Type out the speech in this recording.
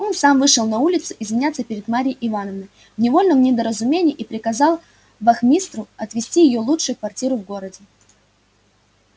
он сам вышел на улицу извиняться перед марьей ивановной в невольном недоразумении и приказал вахмистру отвести её лучшую квартиру в городе